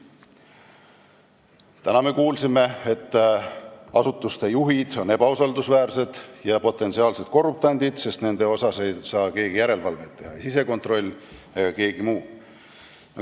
Täna me kuulsime, et asutuste juhid on ebausaldusväärsed ja nad on potentsiaalsed korruptandid, sest nende üle ei saa keegi järelevalvet teha, ei sisekontroll ega keegi muu.